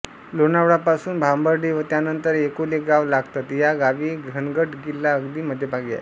लोणावळा पासून भांबर्डे व त्यानंतर एकोले गाव लागतं या गावी घनगड किल्ला अगदी मध्यभागी आहे